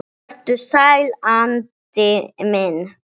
Vertu sæll, Addi minn.